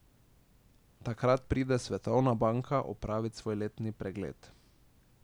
Takrat pride Svetovna banka opravit svoj letni pregled.